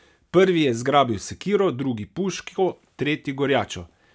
Prvi je zgrabil sekiro, drugi puško, tretji gorjačo.